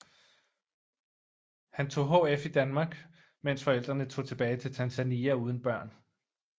Han tog HF i Danmark mens forældrene tog tilbage til Tanzania uden børn